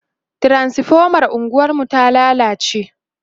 transifomar unguwar mu ta lallace